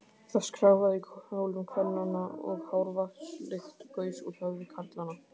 Það skrjáfaði í kjólum kvennanna, og hárvatnslykt gaus úr höfði karlanna.